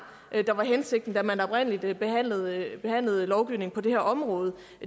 der var hensigten da man oprindelig behandlede behandlede lovgivningen på det her område